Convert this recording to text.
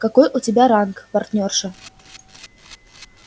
какой у тебя ранг партнёрша